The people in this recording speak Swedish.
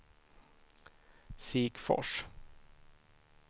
Sikfors